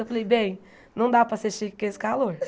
Eu falei, bem, não dá para ser chique com esse calor.